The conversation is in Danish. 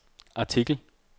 artikel